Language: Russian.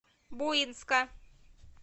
буинска